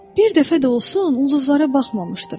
Bir dəfə də olsun ulduzlara baxmamışdır.